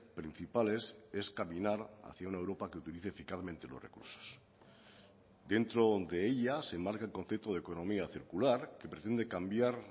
principales es caminar hacia una europa que utilice eficazmente los recursos dentro de ella se enmarca el concepto de economía circular que pretende cambiar